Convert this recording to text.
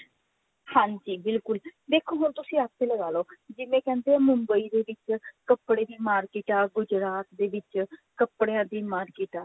ਹਾਂਜੀ ਬਿਲਕੁੱਲ ਦੇਖੋ ਹੁਣ ਤੁਸੀਂ ਆਪੇ ਲਗਾਲੋ ਜਿਵੇਂ ਕਹਿੰਦੇ ਮੁੰਬਈ ਦੇ ਵਿੱਚ ਕੱਪੜੇ ਦੀ market ਹੈ ਗੁਜਰਾਤ ਦੇ ਵਿੱਚ ਕੱਪੜਿਆ ਦੀ market ਆ